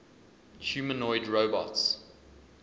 humanoid robots